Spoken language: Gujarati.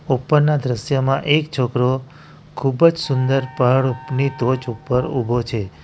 ઉપરના દ્રશ્યમાં એક છોકરો ખુબજ સુંદર પહાડની ટોચ ઉપર ઊભો છે.